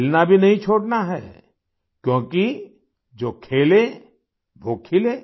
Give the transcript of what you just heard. खेलना भी नहीं छोड़ना है क्योंकि जो खेले वो खिले